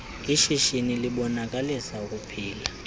ishishini libonakalisa ukuphila